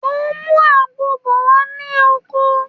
Mo ń mú àgbon bọ̀ wá sí oko